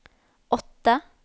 åtte